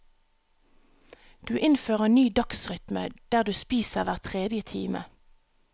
Du innfører ny dagsrytme, der du spiser hver tredje time.